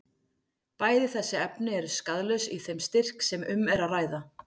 Bæði þessi efni eru skaðlaus í þeim styrk sem um er að ræða.